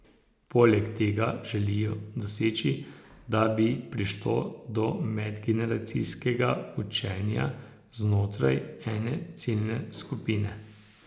Poleg tega želijo doseči, da bi prišlo do medgeneracijskega učenja znotraj ene ciljne skupine.